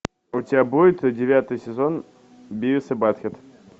у тебя будет девятый сезон бивис и батхед